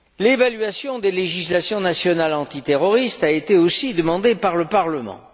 choses. L'évaluation des législations nationales antiterroristes a été aussi demandée par le Parlement.